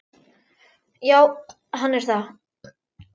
Já, hann er það.